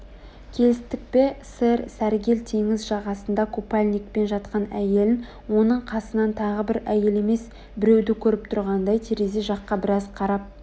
келістік пе сэр сәргел теңіз жағасында қупальникпен жатқан әйелін оның қасынан тағы бір әйел емес біреуді көріп тұрғандай терезе жаққа біраз қарап